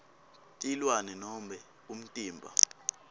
tilwane nobe umtimba